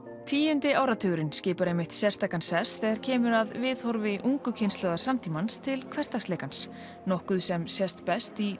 tíundi áratugurinn skipar sérstakan sess þegar kemur að viðhorfi ungu kynslóðar samtímans til hversdagsleikans nokkuð sem sést best í